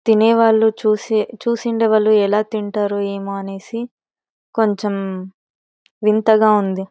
తినే వాళ్ళు చూసే చూసిండు వాళ్ళు ఎలా తింటారో ఏమో అనేసి కొంచెం వింతగా ఉంది.